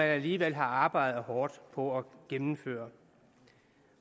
alligevel har arbejdet hårdt på at gennemføre